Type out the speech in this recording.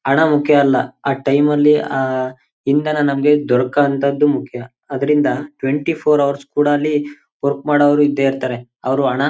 ಹಣ ಮುಖ್ಯ ಅಲ್ಲ ಆ ಟೈಮ್ ಅಲ್ಲಿ ಆ ಇಂಧನ ನಂಬಿ ಮುಖ್ಯ ಅದರಿಂದ ಟ್ವೆಂಟಿಫೋರ್ ಹೌರ್ಸ್ ವರ್ಕ್ ಮಾಡುವರು ಇದ್ದೆ ಇರ್ತಾರೆ. ಅವರು ಹಣ--